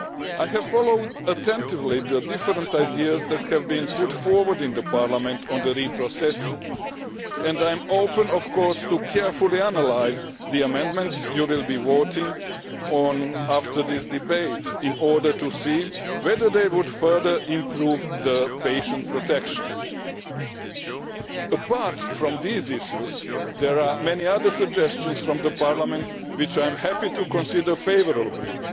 I have followed attentively the different ideas that have been put forward in Parliament on reprocessing, and I am, of course, open to carefully analysing the amendments you will be voting on after this debate in order to see whether they would further improve patient protection. Apart from these issues, there are many other suggestions from Parliament which I am happy to consider favourably.